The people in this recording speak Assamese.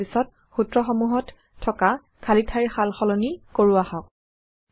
ইয়াৰ পিছত সূত্ৰসমূহত থকা খালী ঠাইৰ সালসলনি কৰো আহক